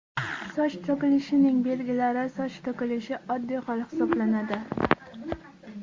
Soch to‘kilishining belgilari Soch to‘kilishi oddiy hol hisoblanadi.